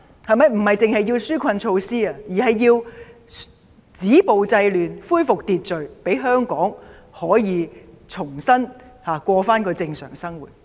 他們不單需要紓困措施，還要政府止暴制亂，恢復秩序，讓香港市民可以重新過正常生活。